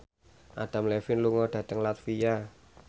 Adam Levine lunga dhateng latvia